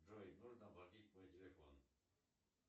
джой нужно оплатить мой телефон